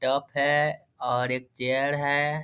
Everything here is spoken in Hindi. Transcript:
टब है और एक चेयर है।